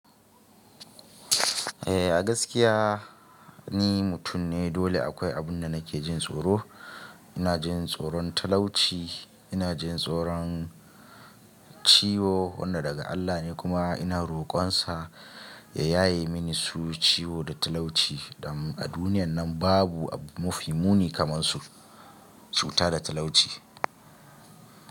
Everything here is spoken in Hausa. Eh, a gaskiya ni mutum ne dole akwai abun da nake jin tsoro. Ina jin tsoron talauci, ina jin tsoron ciwo wannan daga Allah ne kuma ina rokon sa ya yaye mini su ciwo da talauci, dan a duniyan nan babu abu mafi muni kamar su cuta da talauci.